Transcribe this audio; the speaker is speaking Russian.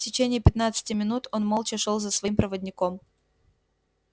в течение пятнадцати минут он молча шёл за своим проводником